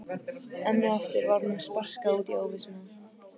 Enn og aftur var honum sparkað út í óvissuna.